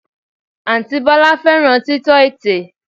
Àǹtí Bọ́lá fẹ́ràn títọ́ ètè